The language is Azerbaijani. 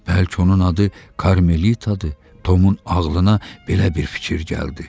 Bəlkə onun adı Karmelitadır, Tomun ağlına belə bir fikir gəldi.